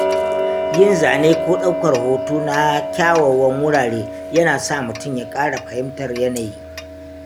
Yin zane ko ɗaukar hoto na kyawawan wurare yana sa mutum ya ƙara fahimtar yanayi.